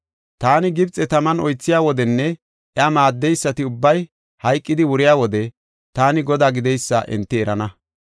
Taani Gibxe taman oythiya wodenne iya maaddeysati ubbay hayqidi wuriya wode, taani Godaa gideysa enti erana.